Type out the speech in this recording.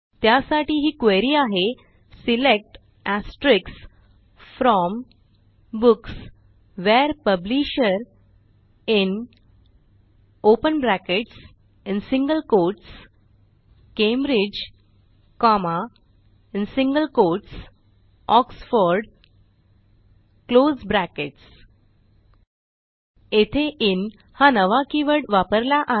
त्यासाठी ही क्वेरी आहे select from books where publisher in Cambridge Oxford येथे INहा नवा कीवर्ड वापरला आहे